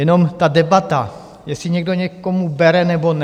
Jenom ta debata, jestli někdo někomu bere, nebo ne.